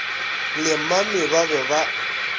le mami ba be ba